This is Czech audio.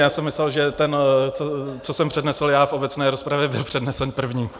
Já jsem myslel, že ten, co jsem přednesl já v obecné rozpravě, byl přednesen první.